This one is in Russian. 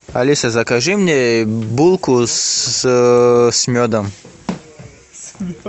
алиса закажи мне булку с медом